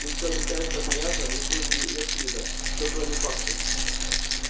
ты все объясняешь так понятно не хуже евклида все кроме фактов